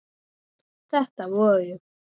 Þetta voru